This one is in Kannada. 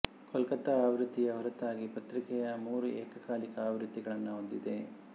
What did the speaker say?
ಕೋಲ್ಕತಾ ಆವೃತ್ತಿಯ ಹೊರತಾಗಿ ಪತ್ರಿಕೆ ಮೂರು ಏಕಕಾಲಿಕ ಆವೃತ್ತಿಗಳನ್ನು ಹೊಂದಿದೆ